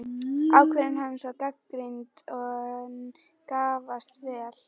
Ákvörðun hans var gagnrýnd, en gafst vel.